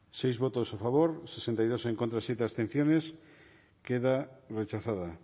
bozketaren emaitza onako izan da hirurogeita hamabost eman dugu bozka sei boto alde hirurogeita bi contra zazpi abstentzio queda rechazada